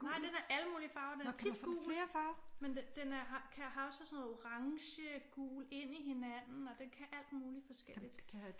Nej den er alle mulige farver den er tit gul men den er den har også sådan noget orange gul ind i hinanden og den kan alt muligt forskelligt